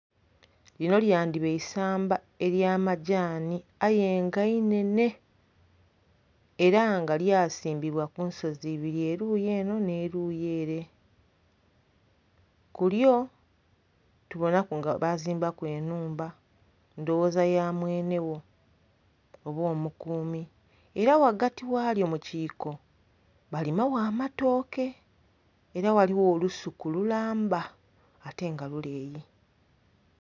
Linho lyandhiba eisamba ely'amagyani aye nga inhenhe era nga lyasimbibwa ku nsozi ibiri, eluuyi enho nh'eluuyi ere. Ku lyo tubonaku nga baazimbaku enhumba, ndhowoza ya mwenhe gho, oba omukuumi. Era ghagati ghalyo mu kiiko balima gho amatooke. Era ghaligho olusuku lulamba ate nga luleeyi.